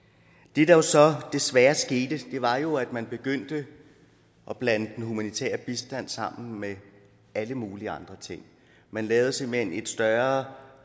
det der så desværre skete var jo at man begyndte at blande den humanitære bistand sammen med alle mulige andre ting man lavede simpelt hen et større